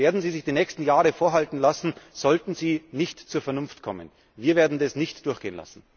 Das werden Sie sich die nächsten Jahre vorhalten lassen müssen, sollten Sie nicht zur Vernunft kommen. Wir werden das nicht durchgehen lassen!